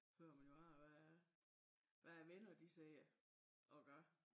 Hører man jo bare hvad hvad venner de siger og gør